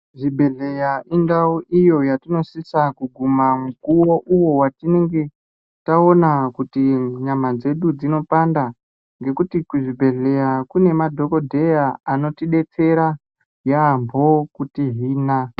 Zvibhedhleya indau iyo yatinosise kuguma mukuwo uwo atinenge taona kuti nyama dzedu dzinopanda. Ngekuti kuzvibhendleya kune madhokodheya anotidetsera yaamho kutihina.